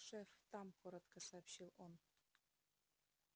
шеф там коротко сообщил он